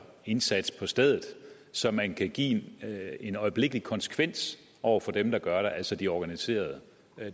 indsats på stedet så man kan give en øjeblikkelig konsekvens over for dem der gør det altså de organiserede